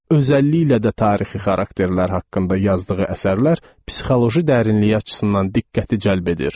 Özəlliklə də tarixi xarakterlər haqqında yazdığı əsərlər psixoloji dərinlik açısından diqqəti cəlb edir.